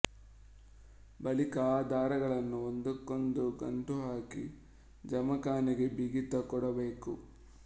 ಬಳಿಕ ಆ ದಾರಗಳನ್ನು ಒಂದಕ್ಕೊಂದು ಗಂಟು ಹಾಕಿ ಜಮಖಾನೆಗೆ ಬಿಗಿತ ಕೊಡಬೇಕು